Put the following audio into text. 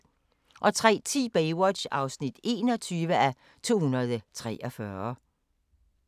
03:10: Baywatch (21:243)